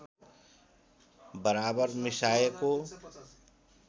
बराबर मिसाएको